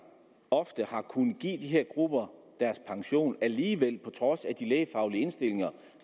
ofte har kunnet give de her grupper deres pension alligevel på trods af de lægefaglige indstillinger